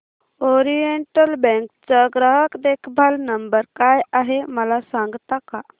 oriental bank चा ग्राहक देखभाल नंबर काय आहे मला सांगता का